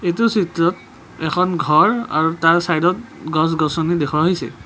এইটো চিত্ৰত এখন ঘৰ আৰু তাৰ ছাইডত গছ গছনি দেখুওৱা হৈছে।